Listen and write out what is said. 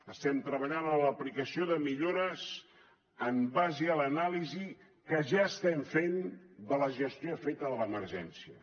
estem treballant en l’aplicació de millores en base a l’anàlisi que ja estem fent de la gestió feta de l’emergència